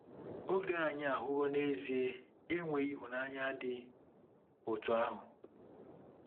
Oge anyị ahụwo n'ezie enweghị ịhụnanya dị otú ahụ.